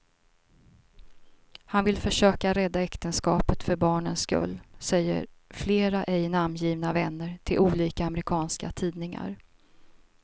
Han vill försöka rädda äktenskapet för barnens skull, säger flera ej namngivna vänner till olika amerikanska tidningar.